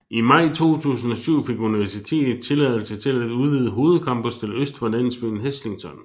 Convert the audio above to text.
I maj 2007 fik universitetet tilladelse til at udvide hovedcampus til øst for landsbyen Heslington